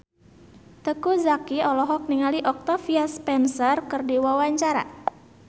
Teuku Zacky olohok ningali Octavia Spencer keur diwawancara